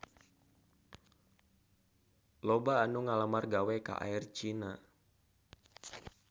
Loba anu ngalamar gawe ka Air China